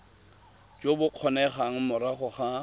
jo bo kgonegang morago ga